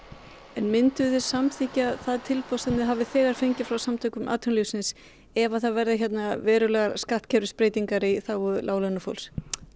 en mynduð þið samþykkja það tilboð sem þið hafið þegar fengið frá Samtökum atvinnulífsins ef það verða verulegar skattkerfisbreytingar í þágu láglaunafólks